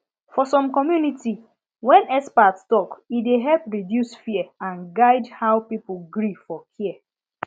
for some community when expert talk e dey help reduce fear and guide how people gree for care